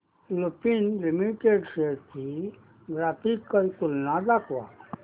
Lupin limited shares ची graphical तुलना दाखव